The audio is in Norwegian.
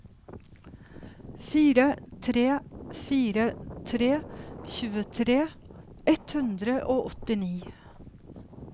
fire tre fire tre tjuetre ett hundre og åttini